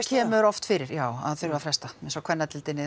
kemur oft fyrir já að það þurfi að fresta eins og á kvennadeildinni